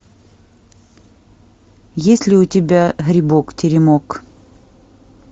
есть ли у тебя грибок теремок